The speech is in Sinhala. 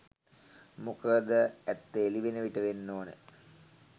මොකද ඇත්ත එළිවන විට වෙන්න ඕන